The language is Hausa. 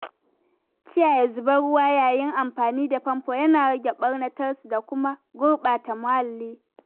Kiyaye zubar ruwa yayin amfani da famfo yana rage ɓarnatarsu da kuma gurɓata muhalli.